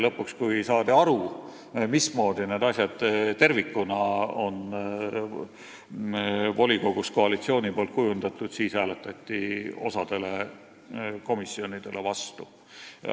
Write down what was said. Lõpuks, kui saadi aru, mismoodi need asjad tervikuna on volikogus koalitsiooni poolt kujundatud, siis hääletati osale komisjonidele vastu.